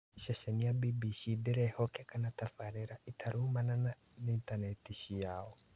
Ceceni ya BBC ndĩrehokeka na tabarĩra ĩtaraumana na intaneti ciayo